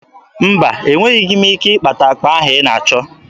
Mba, enweghi m ike ịkpata akpa ahụ ị na-achọ.